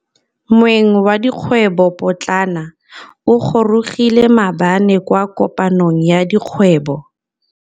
Moêng wa dikgwêbô pôtlana o gorogile maabane kwa kopanong ya dikgwêbô.